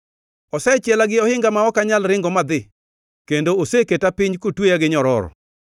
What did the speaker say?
Osechiela gi ohinga ma ok anyal ringo madhi; kendo oseketa piny kotweya gi nyororo.